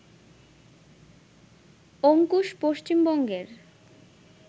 অংকুশ পশ্চিমবঙ্গের